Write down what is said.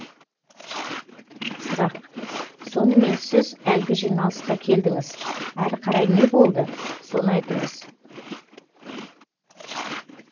сұрақ сонымен сіз әлгі жиналысқа келдіңіз әрі қарай не болды соны айтыңыз